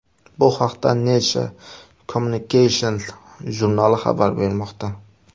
Bu haqda Nature Communications jurnali xabar bermoqda .